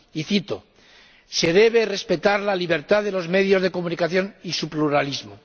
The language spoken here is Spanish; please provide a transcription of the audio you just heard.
Y cito Se respetan la libertad de los medios de comunicación y su pluralismo.